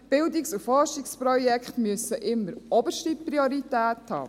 Die Bildungs- und Forschungsprojekte müssen immer oberste Priorität haben.